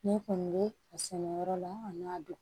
Ne kɔni bɛ a sɛnɛyɔrɔ la an n'a dun